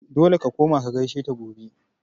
Dole ka koma ka gaishe ta gobe!